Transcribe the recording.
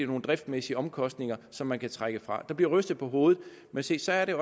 nogle driftsmæssige omkostninger som man kan trække fra der bliver rystet på hovedet men se så er det